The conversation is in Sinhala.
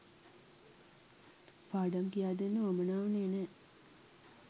පාඩම් කියාදෙන්න වුවමනා වුණේ නැහැ